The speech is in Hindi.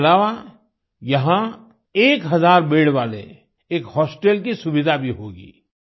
इसके अलावा यहाँ एक हज़ार बेद वाले एक होस्टेल की सुविधा भी होगी